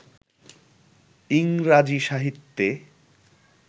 ইংরাজী সাহিত্যে